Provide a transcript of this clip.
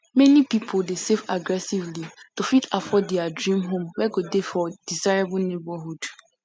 many pipu dey save aggressively to fit afford their dream home wey go dey for desirable neighborhood